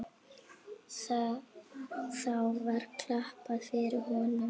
Þá var klappað fyrir honum.